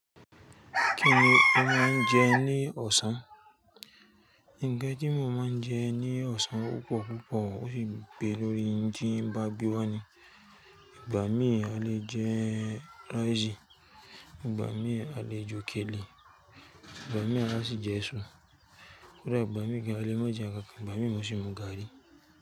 Kí ni a máa ń jẹ ní ọ̀sán? Ńnkan tí mo máa ń jẹ ní ọ̀sán o pọ̀ púpọ̀, ó fi pé lórí ń tí won ba gbewá ni. Ìgbà mí à lé jẹ raisì, ìgbà mí à lé jókèlè, ìgbà mí à sì jẹ èso, kódà ìgbà mí gan à lé má jẹ nnkànkàn, ìgbà mí n sì mu gaari.